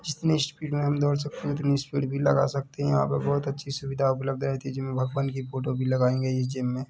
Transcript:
जितने स्पीड मे हम दौड़ सकते हैं उतनी स्पीड भी लगा सकते हैं यहाँ पे बोहोत अच्छी सुविधा उपलब्ध है भगवान की फ़ोटो भी लगायेंगे इस जिम मे--